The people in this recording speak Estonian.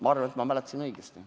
Ma arvan, et ma mäletasin õigesti.